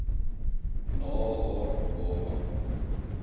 na haar baba